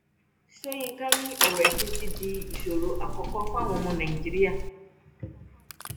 sọyìnkà ni ọrọ ẹsìn ti di ìṣòro àkọkọ fáwọn ọmọ nàìjíríà